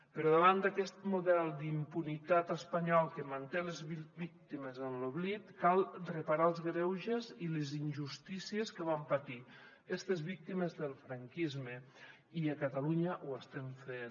però davant d’aquest model d’impunitat espanyol que manté les víctimes en l’oblit cal reparar els greuges i les injustícies que van patir estes víctimes del franquisme i a catalunya ho estem fent